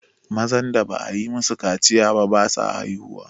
mazan da ba a yi masu kaciya ba basu haihuwa